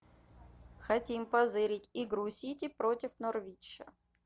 хотим позырить игру сити против норвича